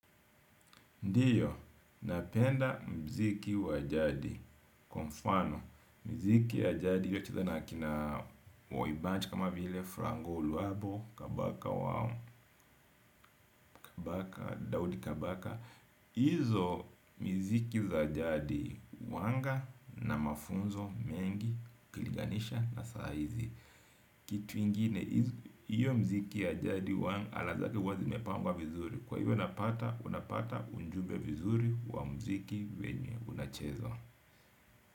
Ndiyo, napenda muziki wa jadii, kwa mfano, miziki ya jadi kama vile wa Franco Luambo, Kabaka Wao, Kabaka, Dawdi Kabaka. Hizo miziki za jadi huwa na mafunzo mengi ikilinganishwa na saa hizi. Kitu kingine, huo muziki wa jadi una lafudhi wazi, umepangwa vizuri, kwa hiyo napata, unapata ujumbe vizuri wa muziki vyenye unachezwa.